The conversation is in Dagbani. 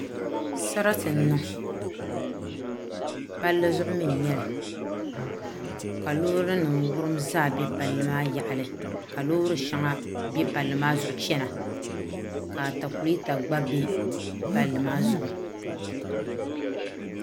Sarati n niŋ palli zuɣu mii n nyɛli ka loori nim wurim zaa bɛ palli maa yaɣili ka loori shɛŋa bɛ palli maa zuɣu chana ka atakulɛta gba bɛ palli maa zuɣu